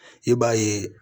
I b'a ye